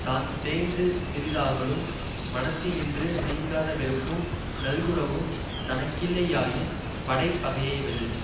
தான் தேய்ந்து சிறிதாகலும் மனத்தினின்று நீங்காத வெறுப்பும் நல்குரவும் தனக்கில்லை யாயின் படை பகையை வெல்லும்